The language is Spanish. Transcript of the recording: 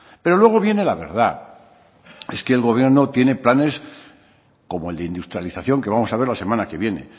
pero luego viene la verdad es que el gobierno tiene planes como el de industrialización que vamos a ver la semana que viene